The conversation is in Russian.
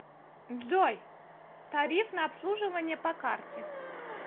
джой тариф на обслуживание по карте